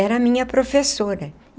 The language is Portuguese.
Era a minha professora.